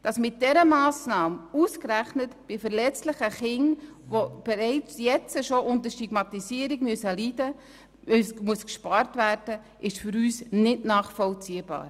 Dass mit dieser Massnahme ausgerechnet bei verletzlichen Kindern, die bereits jetzt unter Stigmatisierung zu leiden haben, gespart werden muss, ist für uns nicht nachvollziehbar.